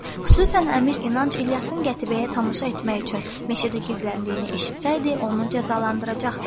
Xüsusən Əmir İnanc İlyasın qətibəyə tamaşa etmək üçün meşədə gizləndiyini eşitsəydi, onu cəzalandıracaqdı.